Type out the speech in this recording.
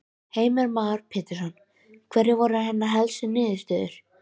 Heimir Már Pétursson: Hverjar eru hennar helstu niðurstöður?